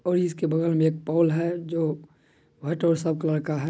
और इसके बगल मे एक पोल है जो वाइट और सब कलर का है।